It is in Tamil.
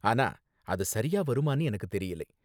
ஆனா, அது சரியா வருமான்னு எனக்கு தெரியல.